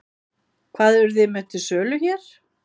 Hvað eruð þið með til sölu hér?